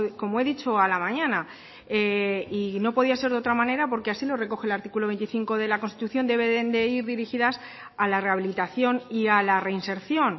como he dicho a la mañana y no podía ser de otra manera porque así lo recoge el artículo veinticinco de la constitución deben de ir dirigidas a la rehabilitación y a la reinserción